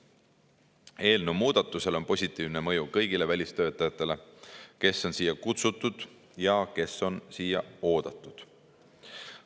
Eelnõukohasel muudatusel on positiivne mõju kõigile välistöötajatele, keda on siia kutsutud ja kes on siia oodatud.